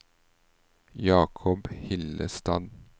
Jacob Hillestad